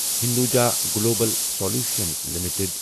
Hinduja global solutions limited